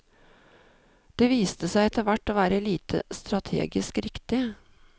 Det viste seg etter hvert å være lite strategisk riktig.